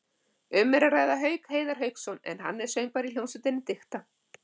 Um er að ræða Hauk Heiðar Hauksson en hann er söngvari í hljómsveitinni Dikta.